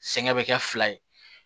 Sɛgɛn bɛ kɛ fila ye